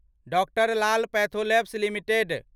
doctor Lal pathlab limited